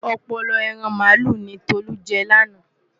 Ọpọlọ ẹran màálù ni Tolú jẹ lánàá.